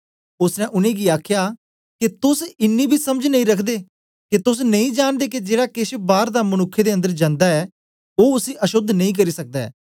ओसने उनेंगी आखया के तोस इन्नी बी समझ नेई रखदे के तोस नेई जांनदे के जेड़ा केछ बार दा मनुक्ख दे अंदर जनदा ऐ ओ उसी अशोद्ध नेई करी सकदा ऐ